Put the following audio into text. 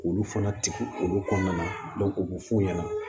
K'olu fana tugu olu kɔnɔna na u b'o f'u ɲɛna